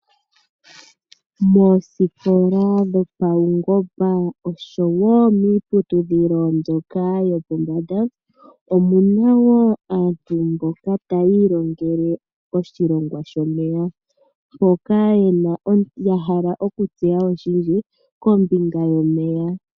Moositola dho paungomba oshowo miiputudhilo mboka yo pombanda omuna wo aantu mboka taya ilongele oshilongwa shono, mboka ya hala okutseya oshindji kombinga yomeya.